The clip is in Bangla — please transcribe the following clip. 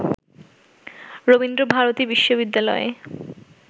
রবীন্দ্র ভারতী বিশ্ববিদ্যালয়ে